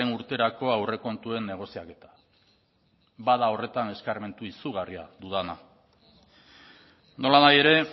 urterako aurrekontuen negoziaketa bada horretan eskarmentu izugarria dudana nolanahi ere